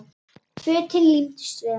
Fötin límdust við hana.